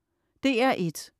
DR1: